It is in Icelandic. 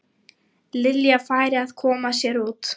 Lilja færi að koma sér út.